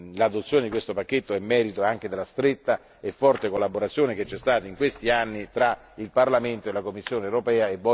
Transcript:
L'adozione di questo pacchetto è merito anche della stretta e forte collaborazione intercorsa in questi anni fra Parlamento e Commissione europea.